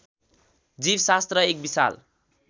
जीवशास्त्र एक विशाल